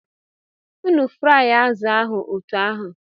Unu fụrụ azụ̀ ahụ otú ahụ!